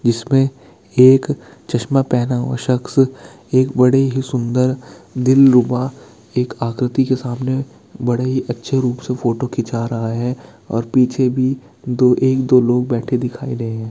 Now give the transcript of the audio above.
जिसमें एक चस्मा पहना हुआ शख्स एक बड़े ही सुन्दर दिलरुबा एक आकृति के सामने बड़े ही अच्छे रूप से फोटो खींचा रहा है और पीछे भी दो एक-दो लोग बैठे दिखाई दे रहे है।